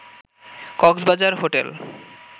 Cox's Bazar hotel